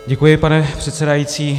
Děkuji, pane předsedající.